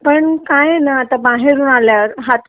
पण काय आहे ना आता बाहेरून आल्यावर हात